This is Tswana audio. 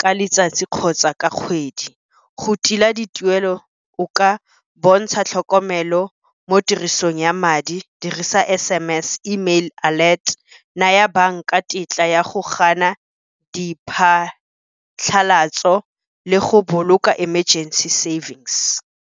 ka letsatsi kgotsa ka kgwedi. Go tila dituelo, o ka bontsha tlhokomelo mo tirisong ya madi, dirisa S_M_S, email alert, naya banka ka tetla ya go gana diphatlhalatso, le go boloka emergency savings.